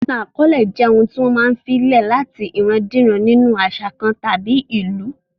Ìtàn akọọlẹ jẹ́ ohun tí wọ́n máa filè lẹ̀ láti ìran-díran nínu àṣà kan tàbí ìlú